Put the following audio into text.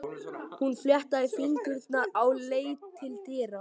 Hún fléttaði fingurna og leit til dyra.